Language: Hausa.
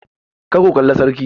Kar ku kalla sarki!